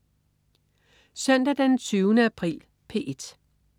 Søndag den 20. april - P1: